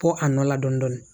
Ko a nɔ la dɔɔnin dɔɔnin